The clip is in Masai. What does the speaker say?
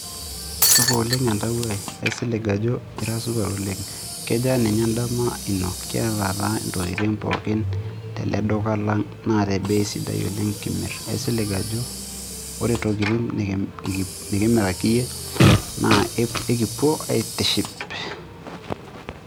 Supa oleng' entawuo ai, aisilig ajo ira supat oleng', kejaa ninye endama ino kiataa intokitin pookin tele duka lang' naa te bei sidai oleng' kimirr, aisilig ajo ore intokiting' nikimiraki iyie kekipuo aitiship.